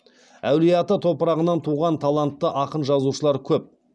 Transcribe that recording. әулиеата топырағынан туған талантты ақын жазушылар көп